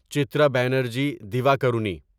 Chitra Banerjee Divakaruni